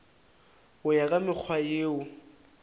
go ya ka mekgwa yeo